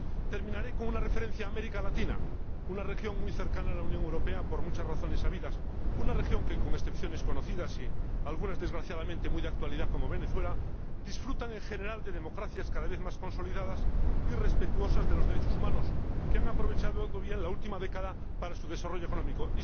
Terminaré con una referencia a América Latina, una región muy cercana a la Unión Europea, por muchas razones sabidas. Una región que, con excepciones conocidas y algunas desgraciadamente muy de actualidad, como Venezuela, disfruta, en general, de democracias cada vez más consolidadas y respetuosas de los derechos humanos, que han aprovechado bien la última década para su desarrollo económico.